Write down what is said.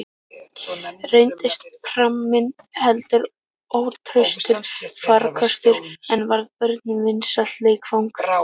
Reyndist pramminn heldur ótraustur farkostur, en varð börnunum vinsælt leikfang.